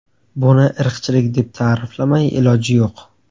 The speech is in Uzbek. Buni irqchilik deb ta’riflamay iloj yo‘q.